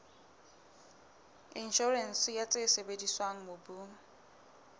inshorense ya tse sebediswang mobung